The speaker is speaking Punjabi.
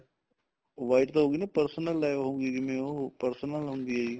white ਹੋਗੀ ਨਾ personal ਹੋਗੀ ਜਿਵੇਂ ਉਹ personal ਹੁੰਦੀ ਆ ਜੀ